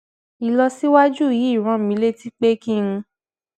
ìlọsíwájú yìí rán mi létí pé kí n